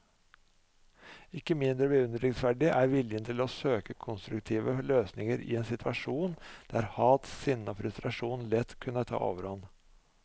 Ikke mindre beundringsverdig er viljen til å søke konstruktive løsninger i en situasjon der hat, sinne og frustrasjon lett kunne ta overhånd.